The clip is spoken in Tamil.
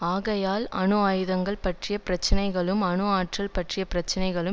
ஆகையால் அணு ஆயுதங்கள் பற்றிய பிரச்சினைகளும் அணு ஆற்றல் பற்றிய பிரச்சினைகளும்